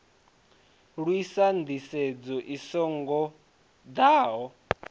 lwisa nḓisedzo i so ngoḓaho